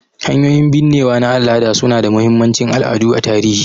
Hanyoyin binnewa na al'ada su na da mahimmancin al'adu a tarihi